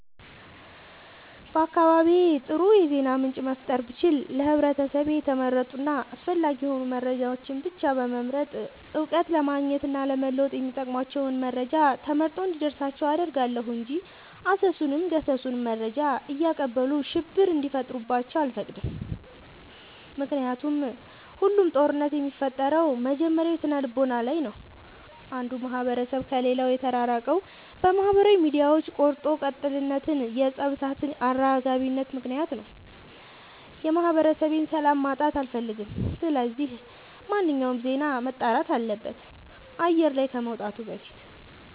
በአካባቢዬ አጥሩ የዜና ምንጭ መፍጠር ብችል ለህብረተሰቤ የተመረጡ እና አስፈላጊ የሆኑ መረጃዎችን ብቻ በመምረጥ እውቀት ለማግኘት እና ለመወጥ የሚጠቅሟቸውን መረጃ ተመርጦ እንዲደርሳቸው አደርጋለሁ። እንጂ አሰሱንም ገሰሱንም መረጃ እያቀበሉ ሽብር እንዲፈጥሩባቸው አልፈቅድም ምክንያቱም ሁሉም ጦርነት የሚፈጠረው መጀመሪያ ስነልቦና ላይ ነው። አንዱ ማህበረሰብ ከሌላው የተራራቀው በማህበራዊ ሚዲያዎች ቆርጦ ቀጥልነት የፀብ እሳት አራጋቢነት ምክንያት ነው። የማህበረሰቤን ሰላም ማጣት አልፈልግም ስለዚህ ማንኛውም ዜና መጣራት አለበት አየር ላይ ከመውጣቱ በፊት።